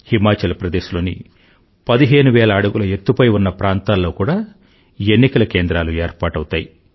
హిమాచల్ ప్రదేశ్ లోని 15000 అడుగుల ఎత్తుపై ఉన్న ప్రాంతాల్లో కూడా ఎన్నికల కేంద్రాలు ఏర్పాటవుతాయి